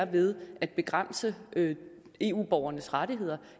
ved at begrænse eu borgernes rettigheder